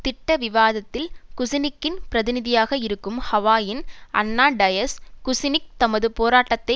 திட்ட விவாதத்தில் குசினிக்கின் பிரதிநிதியாக இருக்கும் ஹவாயின் அன்னா டயஸ் குசினிக் தமக்கு போராட்டத்தை